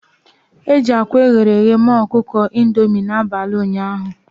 E ji akwa eghere eghe mee ọkụkọ Indomi n'abalị ụnyaahụ.